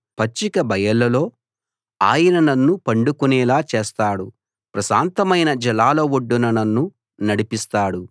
పచ్చిక బయలుల్లో ఆయన నన్ను పండుకునేలా చేస్తాడు ప్రశాంతమైన జలాల ఒడ్డున నన్ను నడిపిస్తాడు